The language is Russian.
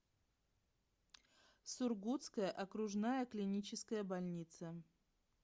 сургутская окружная клиническая больница